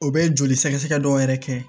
O bɛ joli sɛgɛsɛgɛ dɔw yɛrɛ kɛ